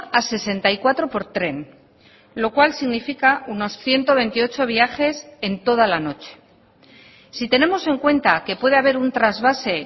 a sesenta y cuatro por tren lo cual significa unos ciento veintiocho viajes en toda la noche si tenemos en cuenta que puede haber un trasvase